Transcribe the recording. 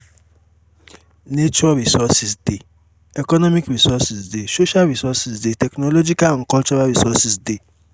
nature resources de economic resource de social resource de technological and cultural resources de